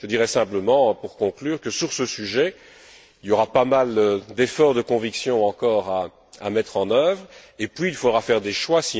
Je dirai simplement, pour conclure, que sur ce sujet, il y aura pas mal d'efforts de conviction encore à mettre en œuvre, et puis il faudra faire des choix.